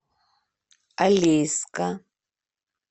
алейска